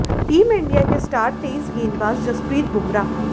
team India के star तेज गेंदबाज जसप्रीत बुमर